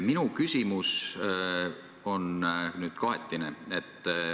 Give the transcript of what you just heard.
Minu küsimus on kahetine.